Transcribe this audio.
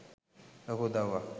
ලොකු උදව්වක් .